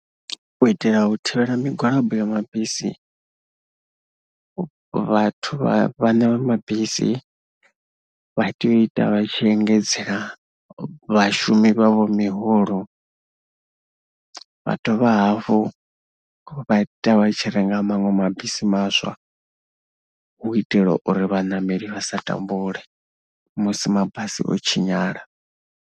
U itela u thivhela migwalabo ya mabisi, vhathu vha vhaṋe vha mabisi vha tea u ita vha tshi engedzela vhashumi vhavho miholo, vha dovha hafhu vha ita vha tshi renga maṅwe mabisi maswa u itela uri vhaṋameli vha sa tambule musi mabasi o tshinyala.